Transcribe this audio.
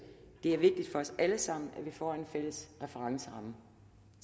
det er vigtigt for os alle sammen at vi får en fælles referenceramme